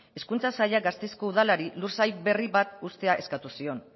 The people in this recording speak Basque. hezkuntza sailak gasteizko udalari lursail berri bat uztea eskatu zion